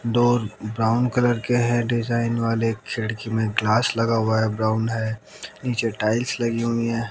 दो brown colour के हैं डिजाइन वाले। खिड़की में ग्लास लगा हुआ है ब्राउन है। नीचे टाइल्स लगी हुई है।